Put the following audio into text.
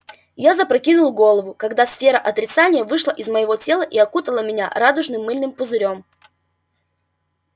я запрокинул голову когда сфера отрицания вышла из моего тела и окутала меня радужным мыльным пузырём